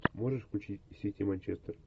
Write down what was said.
можешь включить сити манчестер